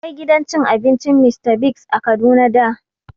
Akwai gidan cin abincin Mr Biggs a Kaduna da